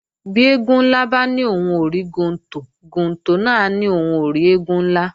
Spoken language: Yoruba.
Bí eégún ńlá bá ní òhun ò rí gontò, gontò náà á ní òhun ò rí eégún ńlá